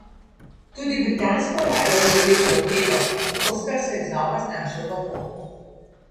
Tudi britansko ladjo je zadel torpedo in Oskar se je znova znašel v morju.